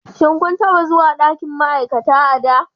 Shin kun taɓa zuwa ɗakin ma'aikata a da?